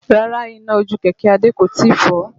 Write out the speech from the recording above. Rárá iná ojú kẹ̀kẹ́ Adé kò tíì kọ́